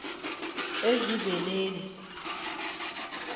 ezibeleni